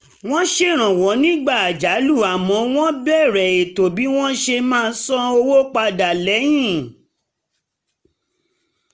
wọ́n ṣèrànwọ́ nígbà àjálù àmọ́ wọ́n bèèrè ètò bí wọ́n ṣe máa san owó padà lẹ́yìn